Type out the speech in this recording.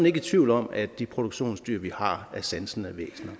ikke i tvivl om at de produktionsdyr vi har er sansende væsener